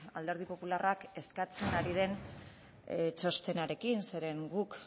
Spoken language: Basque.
alderdi popularrak eskatzen ari den txostenarekin zeren guk